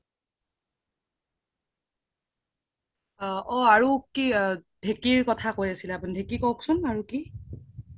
অ আৰু কি ধেকিৰ কথা কৈ আছিলে আপোনি ধেকি কওক্চোন আৰু কি